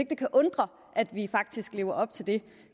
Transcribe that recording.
det kan undre at vi faktisk lever op til det